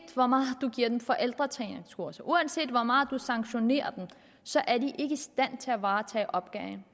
hvor meget man giver dem forældretræningskurser og uanset hvor meget man sanktionerer dem så er de ikke i stand til at varetage opgaven